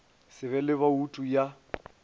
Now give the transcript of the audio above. se be le boutu ya